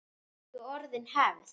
Löngu orðin hefð.